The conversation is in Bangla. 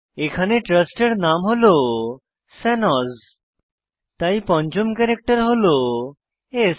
এখানে ট্রাস্টের নাম হল শানোজ তাই পঞ্চম ক্যারেক্টার হল স্